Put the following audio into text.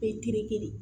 Perikiri